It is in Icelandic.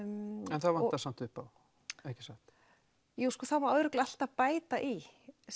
en það vantar samt upp á ekki satt jú það má örugglega alltaf bæta í